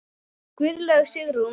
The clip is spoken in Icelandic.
Guðlaug Sigrún.